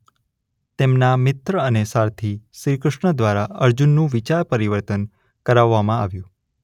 તેમના મિત્ર અને સારથિ શ્રી કૃષ્ણ દ્વારા અર્જુનનું વિચાર પરિવર્તન કરાવવામાં આવ્યું.